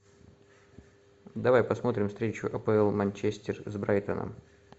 давай посмотрим встречу апл манчестер с брайтоном